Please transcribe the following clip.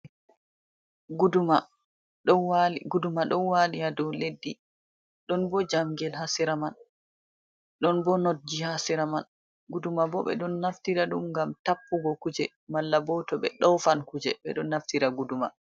Guduma ɗon wali ha dow leddi, ɗon bo jamgel ha sera man, ɗon bo nogji ha sera man. Guduma bo ɓe ɗon naftira ɗum ngam tappugo kuje malla bo to ɓe dofan kuje ɓeɗon naftira guduma.